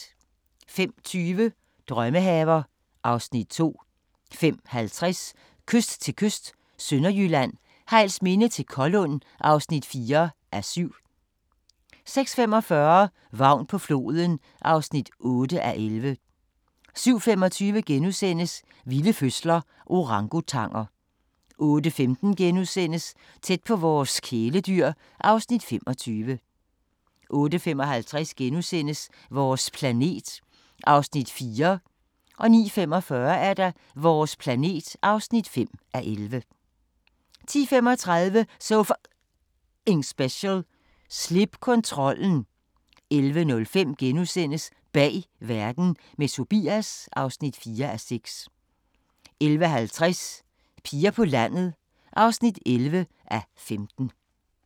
05:20: Drømmehaver (Afs. 2) 05:50: Kyst til kyst – Sønderjylland, Hejlsminde til Kollund (4:7) 06:45: Vagn på floden (8:11) 07:25: Vilde fødsler – Orangutanger * 08:15: Tæt på vores kæledyr (Afs. 25)* 08:55: Vores planet (4:11)* 09:45: Vores planet (5:11) 10:35: So F***ing Special: Slip kontrollen 11:05: Bag verden – med Tobias (4:6)* 11:50: Piger på landet (11:15)